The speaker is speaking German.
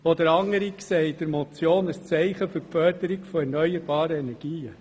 Wieder andere sehen in der Motion ein Zeichen für die Förderung von erneuerbaren Energien.